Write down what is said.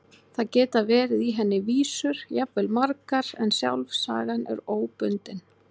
Það geta verið í henni vísur, jafnvel margar, en sjálf sagan er óbundin.